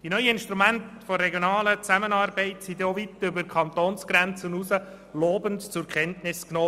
Die neuen Instrumente der regionalen Zusammenarbeit wurden weit über die Kantonsgrenze hinaus lobend zur Kenntnis genommen.